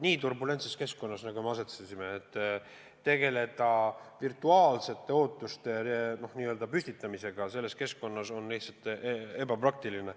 Selles turbulentses keskkonnas, kus me oleme asetsenud, tegeleda virtuaalsete ootuste püstitamisega on lihtsalt ebapraktiline.